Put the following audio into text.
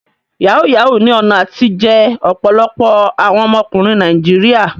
Yahoo yahoo ní ọ̀nà àtijẹ ọ̀pọ̀lọpọ̀ àwọn ọmọkùnrin Nàìjíríà.